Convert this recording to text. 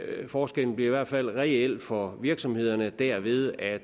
forskellen bliver i hvert fald reel for virksomhederne derved at